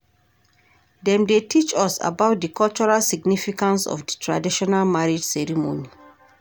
Dem dey teach us about di cultural significance of di traditional marriage ceremony.